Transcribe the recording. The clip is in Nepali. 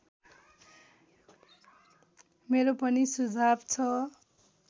मेरो पनि सुझाव छ